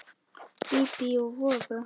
Bíbí og voða.